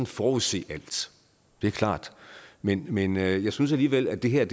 forudset alt det er klart men men jeg synes alligevel at det her er